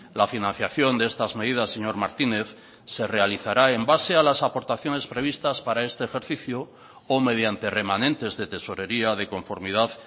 la financiación de estas medidas señor martínez se realizará en base a las aportaciones previstas para este ejercicio o mediante remanentes de tesorería de conformidad